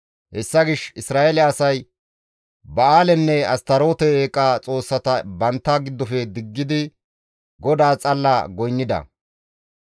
Hessa gishshas Isra7eele asay Ba7aalenne Astaroote eeqa xoossata bantta giddofe diggidi GODAAS xalla goynnida.